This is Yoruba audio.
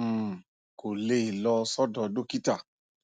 um kò lè lọ sọdọ dókítà